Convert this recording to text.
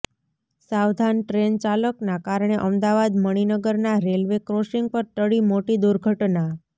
સાવધાન ટ્રેન ચાલકના કારણે અમદાવાદ મણિનગરના રેલવે ક્રોસિંગ પર ટળી મોટી દુર્ધટના